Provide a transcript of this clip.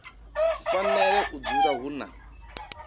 fanela u dzula hu na